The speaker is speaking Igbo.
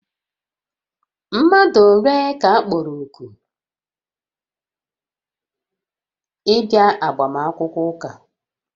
Mmadụ ole ka a kpọrọ òkù ịbịa agbamakwụkwọ ụka?